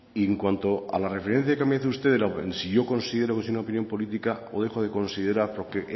y en cuanto a la referencia que me dice usted si yo considero que es una opinión política o dejo de considerar porque